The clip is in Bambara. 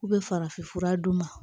U bɛ farafin fura d'u ma